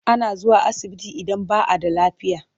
Ana zuwa asibiti idan ba a da lafiya.